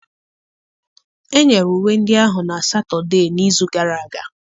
Enyere uwe ndị ahụ na Satọde n'izu gara aga.